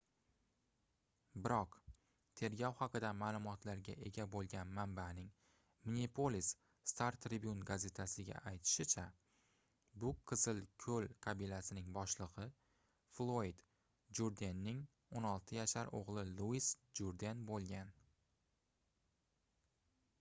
biroq tergov haqida maʼlumotlarga ega boʻlgan manbaning minneapolis star-tribune gazetasiga aytishicha bu qizil koʻl qabilasining boshligʻi floyd jurdenning 16 yashar oʻgʻli luis jurden boʻlgan